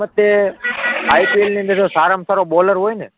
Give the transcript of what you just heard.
મારા મતે IPL ની અંદર જો સારા માં સારો બોલર હોય ને,